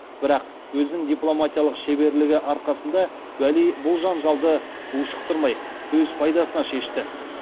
бірақ өзінің дипломатиялық шеберлігі арқасында уәли бұл жанжалды ушықтырмай өз пайдасына шешті